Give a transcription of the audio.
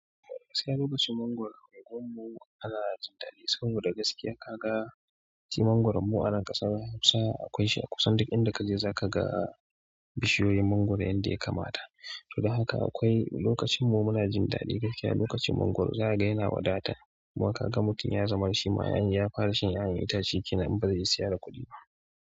Gaakiya lokacin mangwaro unguwammu ana jin daɗi saboda gaskiya kaga itace mangwaron mu a nan ƙasar Hausa akwai shi a kusan duk inda kaje zaka ga bishiyoyin mangwaro yanda ya kamata. Don haka akwai lokacin mu muna jin daɗi gaskiya lokacin mangwaro za ka ga yana wadata kuma kaga mutum ya zama na shima in ya fara shan 'ƴa'ƴan itace kenan in bazai iya siya da kuɗi ba.